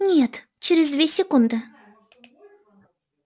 нет через две секунды